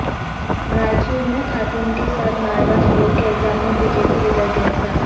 رائچور میں خاتون کے ساتھ ناروا سلوک کے الزام میں بی جے پی لیڈر گرفتار